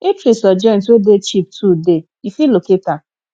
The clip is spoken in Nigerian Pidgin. eatries or joint wey de cheap too de you fit locate am